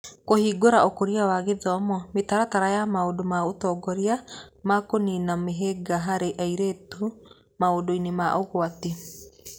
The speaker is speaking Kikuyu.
Kũhingũra Ũkũria na Gĩthomo, mĩtaratara ya maũndũ ma ũtongoria ma kũniina mĩhĩnga harĩ airĩtu maũndũ-inĩ ma ũgwati